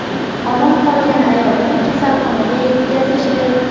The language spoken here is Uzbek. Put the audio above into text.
Omon qolgan ayolni kasalxonaga yetkazishdi.